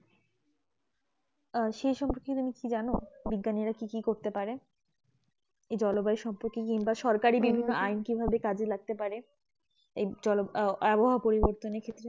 আহ এই সম্পর্কের কিছু যেনো বিজ্ঞানী কি কি করতে পারে জলবায়ু সম্পকে নিয়ে সরকারি বিভিন্ন আইন কি ভাবে কাজে লাগতে পারে আবহাওয়া পরিবতনে ক্ষেত্রে